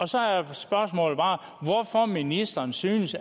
så er spørgsmålet bare hvorfor ministeren synes